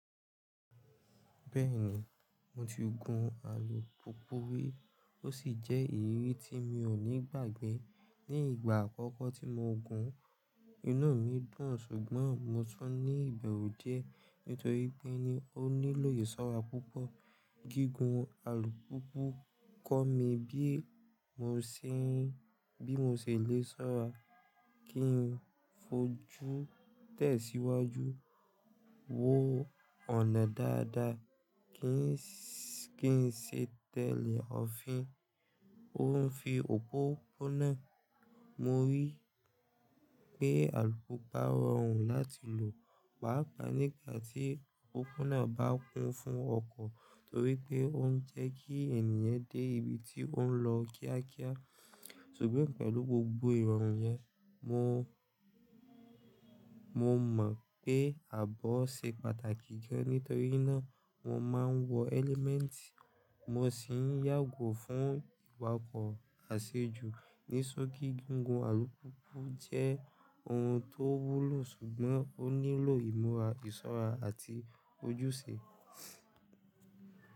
Bẹ́ẹ̀ni, mo ti gun alùpùpù rí ó sì jẹ́ ìrírí tí mi ò ní gbàgbé. Ni ìgbà àkọ́kọ́ tí mo gun, inú mi dùn ṣùgbọ́n mo tún ní ìbẹ̀rù die nítorí pé ni ó nílò ìṣọ́ra púpọ̀. Gígùn alùpùpù kọ́ mi bi mo bí mo se lè ṣọ́ra, kí n fojú tẹ̀síwájú, wo ọ̀nà dáadáa, kí n ṣe tẹ̀lé ọ̀fin, ófin òpópónà. Mo rí pé alùpùpa roọrùn láti lò, pàápàá nígbà tí òpópónà bá kún fún ọkọ̀ torí pé ó ń jẹ́ kí ènìyàn dé ibi tí ó ń lọ kíákíá. Ṣùgbọ́n pẹ̀lú gbogbo ìròrun yẹn, mo mọ̀ pé ààbọ̀ ṣe pàtàkì gan nítorí náà wọ́n máa ń wọ ẹ́lẹ́mẹ̀ẹ̀tì, mo sì ń yàgò fún ìwakọ̀ àṣejù ní soki. Gígùn alùpùpa jẹ́ ohun tó wúlò ṣùgbọ́n ó nílò ìmúra, ìṣọ́ra àti ojúṣe.